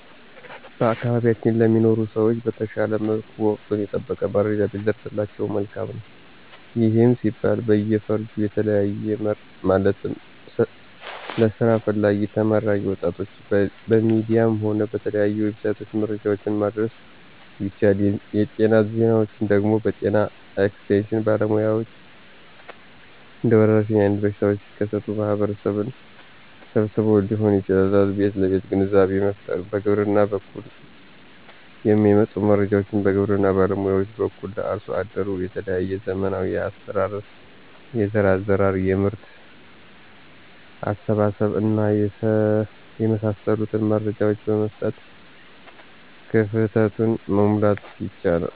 በአካባቢያችን ለሚኖሩ ሰዎች በተሻለ መልኩ ወቀቱን የጠበቀ መረጃ ቢደርሳቸው መልካም ነው። ይህም ሲባል በየፈርጁ እየተለየ ማለትም ለስራ ፈላጊ ተመራቂ ወጣቶች በሚዲያም ሆነ በተለያዩ"ዌብሳይት"መረጃዎችን ማድረስ ቢቻል, የጤና ዜናዎች ደግሞ በጤና ኤክስቴሽን ባለሙያዎች እንደወረርሽኝ አይነት በሽታዎች ሲከሰቱ ማህበረሰቡን ሰብስቦዎ ሊሆን ይችላል ቤት ለቤት ግንዛቤ መፍጠር፣ በግብርና በኩል የሚመጡ መረጃዎችን በግብርና ባለሙያዎች በኩል ለአርሶ አደሩ የተለያዩ ዘመናዊ የአስተራረስ፣ የዘር አዘራር፣ የምርት አሰባሰብ እና የመሳሰሉትን መረጃዎች በመስጠት ክፍተቱን, መሙላት ይቻላል።